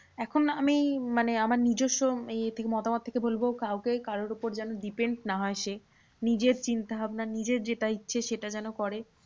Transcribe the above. এখন আমি মানে আমার নিজস্য ইয়ে থেকে মতামত থেকে বলবো কাউকে কারোর উপর যেন depend না হয় সে। নিজের চিন্তাভাবনা নিজের যেটা ইচ্ছে সেটা যেন করে।